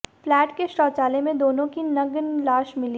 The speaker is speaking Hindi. फ्लैट के शौचालय में दोनों की नग्न लाश मिली